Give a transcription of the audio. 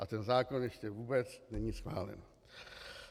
A ten zákon ještě vůbec není schválen.